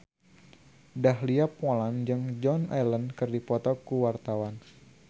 Dahlia Poland jeung Joan Allen keur dipoto ku wartawan